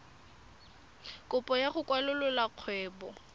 kopo ya go kwalolola kgwebo